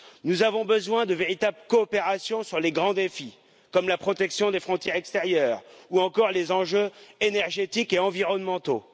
Nous avons besoin de véritables coopérations sur les grands défis comme la protection des frontières extérieures ou encore les enjeux énergétiques et environnementaux.